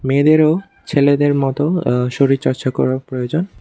মেয়েদেরও ছেলেদের মতো অ্য শরীরচর্চা করা প্রয়োজন।